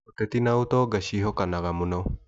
Ũteti na ũtonga ciehokanaga mũno.